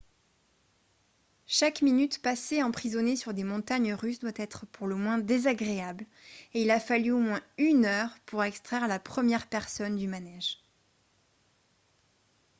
chaque minute passée emprisonné sur des montagnes russes doit être pour le moins désagréable et il a fallu au moins une heure pour extraire la première personne du manège. »